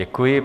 Děkuji.